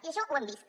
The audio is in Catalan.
i això ho hem vist